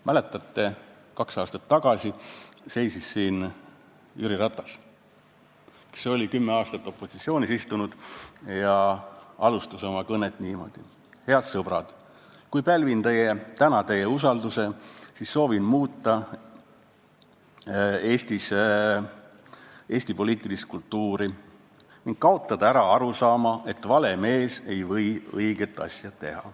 Mäletate, kaks aastat tagasi seisis siin Jüri Ratas, kes oli kümme aastat opositsioonis istunud, ja ütles, et kui ta pälvib meie usalduse, siis soovib ta tõesti muuta Eesti poliitilist kultuuri ning kaotada ära arusaama, et vale mees ei või õiget asja teha.